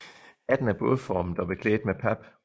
Hatten er bådformet og beklædt med pap